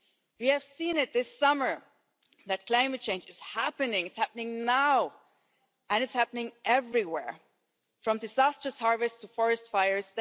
We have seen this summer that climate change is happening it's happening now and it's happening everywhere, from disastrous harvests to forest fires.